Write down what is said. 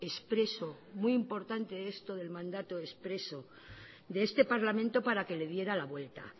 expreso muy importante esto del mandato expreso de este parlamento para que le diera la vuelta